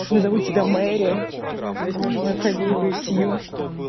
назову тебя мэри возьмёшь мою фамилию сью